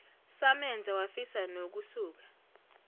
samenza wafisa nokusuka